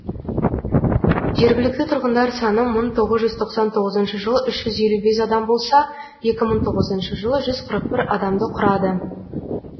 жергілікті тұрғындар саны мың тоғыз жүз тоқсан тоғызыншы жылы үш жүз елу бес адам болса екі мың тоғызыншы жылы жүз қырық бір адамды құрады